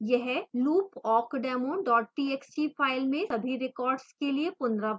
यह loop awkdemo txt file में सभी records के लिए पुनरावृत होगा